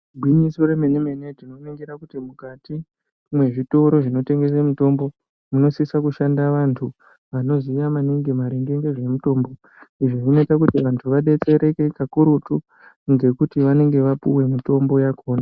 Igwinyiso remene-mene tinoningira kuti mukati mwezvitoro zvinotengesa mitombo munosisa kushanda vantu vanoziya maningi maringe ngezvemitombo. Izvo zvinoita kuti vantu vabetsereke kakurutu ngekuti vanenge vapuve mitombo yakona.